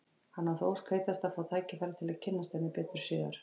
Hann á þá ósk heitasta að fá tækifæri til að kynnast henni betur síðar.